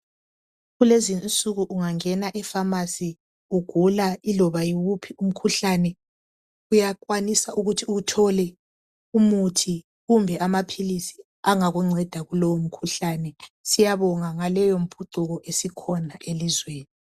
Kulezi insuku ungangena eFamasi ugula yiloba yiwuphi umkhuhlane uyakwanisa ukuthi uthole umuthi kumbe amaphilisi angakunceda kulowo mkhuhlane . Siyabonga ngaleyo mphucuko esikhona elizweni.